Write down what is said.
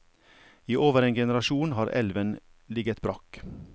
I over en generasjon har elven ligget brakk.